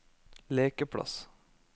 lekeplass